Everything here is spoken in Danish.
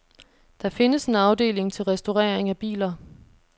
Der findes en afdeling til restaurering af biler.